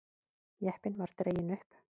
Jeppinn var dreginn upp.